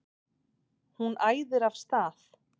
Hún æðir af stað.